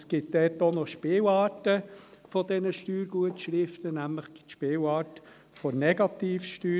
Es gibt dabei auch noch Spielarten der Steuergutschriften, nämlich die Spielart der Negativsteuer.